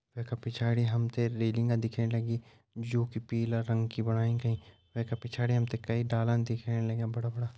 वै का पिछाड़ी हम त रेलिंग दिखेण लगीं जू की पीला रंग की बणाई गई वै का पिछाड़ी हम त कईं डाला दिखेण लग्यां बड़ा बड़ा।